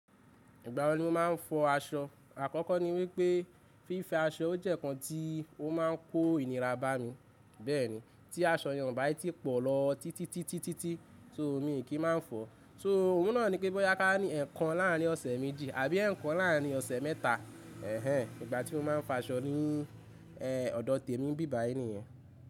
Ìgbà wo ni o máa ń fọ aṣọ? Àkọ́kọ́ ni wípé fífiọaṣọ jẹ́ ǹkan tí ó máa ń kó ìnira bá mi. Bẹ́ẹ̀ni, tí aṣọ yẹn o bá tí pọ̀ lọ títí títí títí tó mi kì í máa fọ̀. So òhun náà ni pé bọ́ ká ní ẹ̀ẹ̀kan láàrín ọ̀sẹ̀ méjì àbí ẹ̀ẹ̀kan láàrín ọ̀sẹ̀ mẹ́ta. Ẹ̀hẹn, ìgbà tí mo máa ń fa aṣọ ni ẹ̀ ọ̀dọ̀ tèmi bíbà ẹni yan.